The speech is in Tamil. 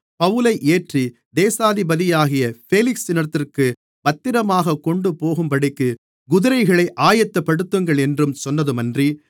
பவுலை ஏற்றி தேசாதிபதியாகிய பேலிக்ஸினிடத்திற்குப் பத்திரமாகக் கொண்டுபோகும்படிக்கு குதிரைகளை ஆயத்தப்படுத்துங்களென்றும் சொன்னதுமன்றி